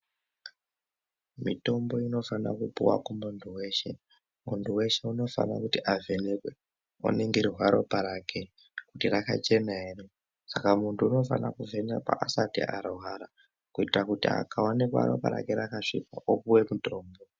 Mitombo inofana kupuva kumuntu veshe muntu veshe unofana kuti avhenekwe voningirwa ropa rake kuti rakachena ere. Saka muntu unofana kuvhenekwa asati arwara kuitira kuti akaonekwa ropa rake rakasvipa opuve mutombo.